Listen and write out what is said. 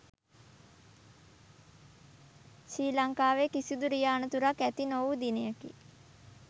ශ්‍රී ලංකාවේ කිසිදු රිය අනතුරක් ඇති නොවූ දිනයකි